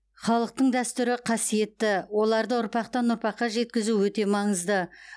халықтың дәстүрі қасиетті оларды ұрпақтан ұрпаққа жеткізу өте маңызды